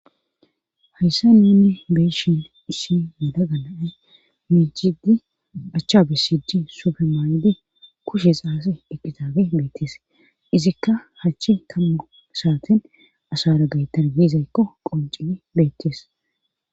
hayssa nunni beyshin issi yalaga naay michidi achcha bisidi supemaaydi kushe xaase eqqitaabe beettees izikka hachchi kammu saaten asara gay tarbizaykko qoncid beettees